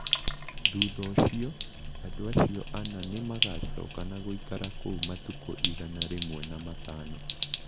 Thutha ũcio, andũ acio ana nĩ magacoka na gũikara kuo matukũ igana rĩmwe na matano